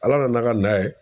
Ala nana ka n'a ka na ye.